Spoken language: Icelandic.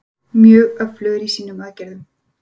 Mjög öflugir í sínum aðgerðum.